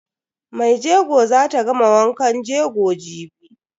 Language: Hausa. Maijego zata gama wankan jego jibi.